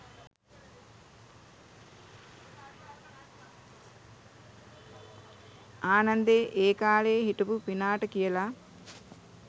ආනන්දෙ ඒකාලෙ හිටපු පිනාට කියලා